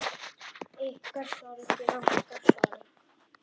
Ykkar sorg er okkar sorg.